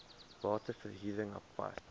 bate verhuring apart